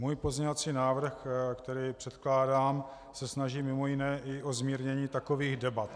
Můj pozměňovací návrh, který předkládám, se snaží mimo jiné i o zmírnění takových debat.